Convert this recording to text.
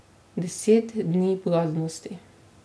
Deset dni blaznosti.